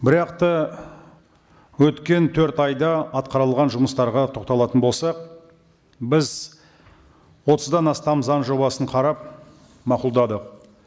бірақ та өткен төрт айда атқарылған жұмыстарға тоқталатын болсақ біз отыздан астам заң жобасын қарап мақұлдадық